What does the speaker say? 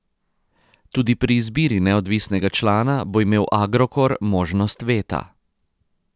Tudi pri izbiri neodvisnega člana bo imel Agrokor možnost veta.